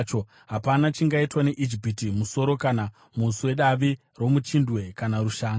Hapana chingaitwa neIjipiti, musoro kana muswe, davi romuchindwe kana rushanga.